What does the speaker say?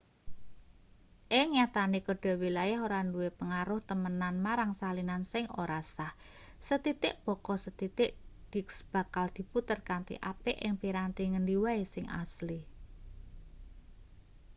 ing nyatane kode wilayah ora duwe pengaruh temenan marang salinan sing ora sah sethithik baka sethithik disk bakal diputer kanthi apik ing piranti ngendi wae sing asli